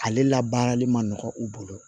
Ale la baarali ma nɔgɔ u bolo